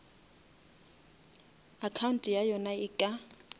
account ya yona e ka